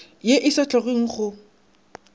ye e sa hlokeng go